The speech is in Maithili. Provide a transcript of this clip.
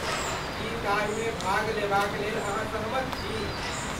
की ताहिमे भाग लेबाक लेल अहाँ सहमत छी?